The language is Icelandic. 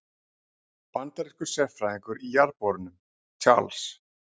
Bandarískur sérfræðingur í jarðborunum, Charles